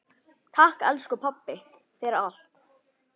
Takk, elsku pabbi, fyrir allt.